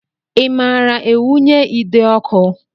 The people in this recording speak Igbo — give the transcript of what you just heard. I maara ewunye ide ọkụ?